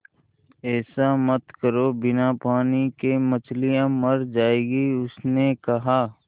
ऐसा मत करो बिना पानी के मछलियाँ मर जाएँगी उसने कहा